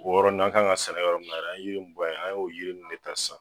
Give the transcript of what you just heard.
O yɔrɔ n na an kan ka sɛnɛ kɛ yɔrɔ min na dɛ an ye yiri in bɔ ye an y'o yiri in de ta sisan